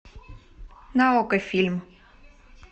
на окко фильм